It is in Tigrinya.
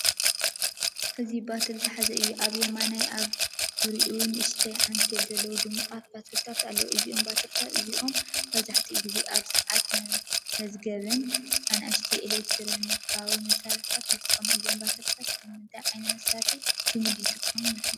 እዚ ባትሪ ዝሓዘ እዩ። ኣብ የማን ኣብ ዙርያኦም ንእሽቶ ዓንኬል ዘለዎም ድሙቓት ባትሪታት ኣለዉ። እዞም ባትሪታት እዚኣቶም መብዛሕትኡ ግዜ ኣብ ሰዓታት፡ መዝገብን ንኣሽቱ ኤለክትሮኒካዊ መሳርሒታትን ይጥቀሙ እዮም። ባትሪታት ኣብ ምንታይ ዓይነት መሳርሒ ልሙድ ይጥቀሙ ይመስለኩም?